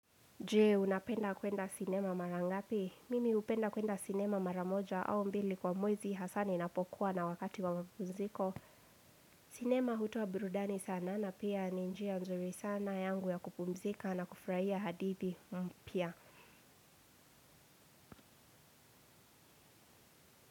Jee unapenda kwenda sinema mara ngapi? Mimi hupenda kwenda sinema mara moja au mbili kwa mwezi hasa ni napokuwa na wakati wa mapumziko. Sinema hutoa burudani sana na pia ni njia nzuri sana yangu ya kupumzika na kufurahia hadithi mpya.